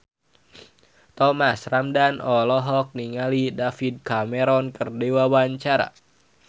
Thomas Ramdhan olohok ningali David Cameron keur diwawancara